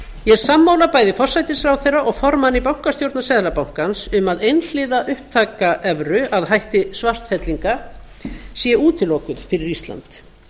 ég er sammála bæði forsætisráðherra og formanni bankastjórnar seðlabankans um að einhliða upptaka evru að hætti svartfellinga sé útilokuð fyrir ísland